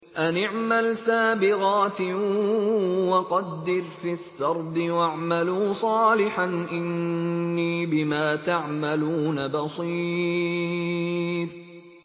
أَنِ اعْمَلْ سَابِغَاتٍ وَقَدِّرْ فِي السَّرْدِ ۖ وَاعْمَلُوا صَالِحًا ۖ إِنِّي بِمَا تَعْمَلُونَ بَصِيرٌ